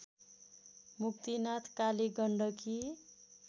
Muktinath Kali Gandaki